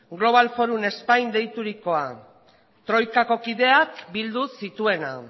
global forum spain deiturikoa troikako kideak bildu zituena